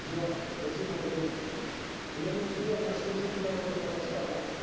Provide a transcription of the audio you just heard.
я лукин андрей клянусь верно служить народу казахстана